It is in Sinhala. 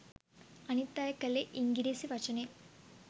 අනිත් අය කලේ ඉංගිරිසි වචනය